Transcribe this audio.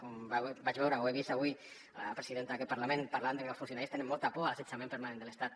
com vaig veure o he vist avui la presidenta d’aquest parlament parlant de que els funcionaris tenen molta por a l’assetjament permanent de l’estat